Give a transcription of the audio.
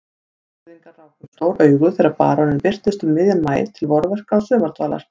Borgfirðingar ráku upp stór augu þegar baróninn birtist um miðjan maí til vorverka og sumardvalar.